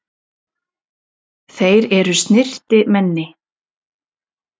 Þeir eru snyrtimenni.